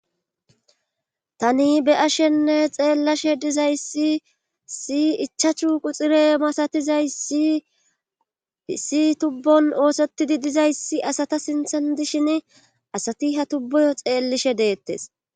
Tani be ashenne xeellishe dizayssi si ichachu quxire masatizaysi isi tubbon oosettidi dizayssi asata sinthan dishin asati ha tubbuyo xeellishe deettes.